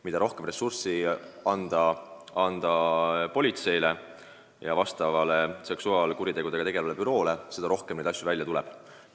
Mida rohkem ressurssi anda politseile ja seksuaalkuritegudega tegelevale büroole, seda rohkem neid asju välja tuleb.